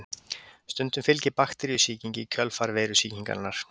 Stundum fylgir bakteríusýking í kjölfar veirusýkingarinnar.